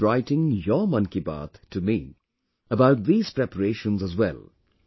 Do keep writing your 'Mann Ki Baat' to me about these preparations as well